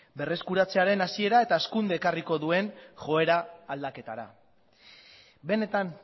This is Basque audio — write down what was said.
berreskuratzearen hasiera eta hazkundea ekarriko duen joera aldaketara benetan